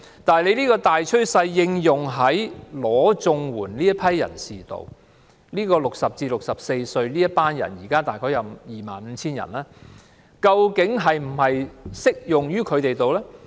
但是，將這個大趨勢套用在領取綜援人士身上 ，60 歲至64歲這組群的人現在大約有 25,000 人，究竟是否適用於他們身上？